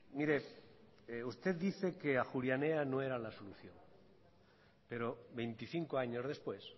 mire usted dice que ajuria enea no era la solución pero veinticinco años después